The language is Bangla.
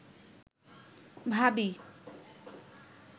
ভাবি